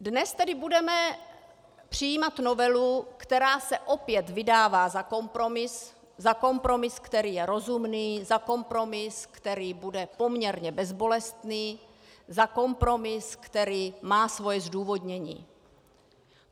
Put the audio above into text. Dnes tedy budeme přijímat novelu, která se opět vydává za kompromis - za kompromis, který je rozumný, za kompromis, který bude poměrně bezbolestný, za kompromis, který má své zdůvodnění.